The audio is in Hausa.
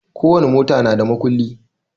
Ko wani mota na da makulli